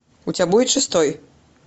у тебя будет шестой